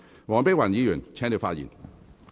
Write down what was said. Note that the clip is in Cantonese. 黃碧雲議員，請繼續發言。